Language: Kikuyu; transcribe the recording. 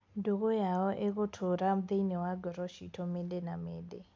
Ndũgũ yao ĩgũtũra thĩinĩ wa ngoro ciitũ mĩndĩ na mĩndĩ.